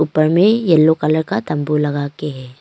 ऊपर में yellow colour का तंबू लगा के है।